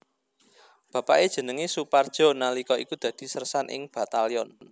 Bapake jenenge Soepardjo nalika iku dadi sersan ing Batalyon